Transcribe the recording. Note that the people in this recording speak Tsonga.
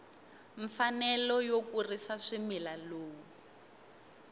mfanelo yo kurisa swimila lowu